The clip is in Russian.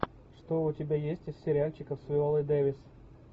что у тебя есть из сериальчиков с виолой дэвис